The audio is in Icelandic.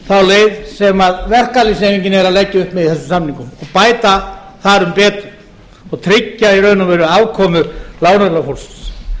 þá leið sem verkalýðshreyfingin er að leggja upp með í þessum samningum og bæta þar um betur og tryggja í raun og veru afkomu láglaunafólksins